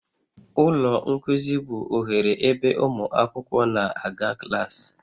Ụlọ nkuzi bụ oghere ebe ụmụ akwụkwọ na-aga klaasị